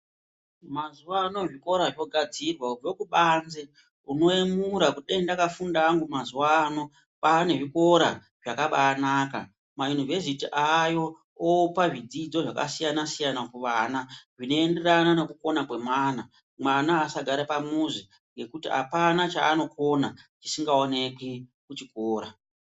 Mazuwa ano zvikora zvogadzirwa kubve kubanze unoyemura kuti kudai ndakafunda ndakafunda hangu mazuwa ano kwaane zvikora zvakabaanaka. Mayunivhesiti aayo opa zvidzidzo zvakasiyana siyana kuvana zvinoenderana nekukona kwemwana. Mwana asagare pamuzi ngekuti apana chaanokona chisingaoneki kuchikora.